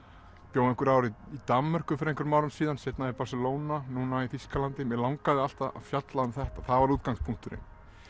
bjó einhver ár í Danmörku fyrir einhverjum árum síðan seinna í Barcelona núna í Þýskalandi mig langaði alltaf að fjalla um þetta það var útgangspunkturinn